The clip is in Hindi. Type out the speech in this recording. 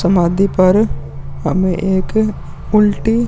समाधी पर हमें एक उल्टी --